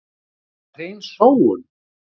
Það var hrein sóun.